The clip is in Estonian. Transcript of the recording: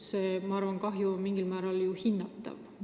See kahju peaks ju olema mingil määral hinnatav.